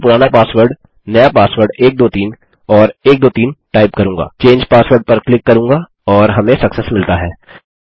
मैं मेरा पुराना पासवर्ड नया पासवर्ड 123 और 123 टाइप करूँगा चंगे पासवर्ड पर क्लिक करूँगा और हमें सक्सेस मिलता है